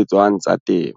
etswang tsa temo.